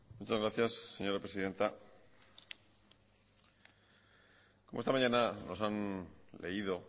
muchas gracias señora presidenta como esta mañana nos han leído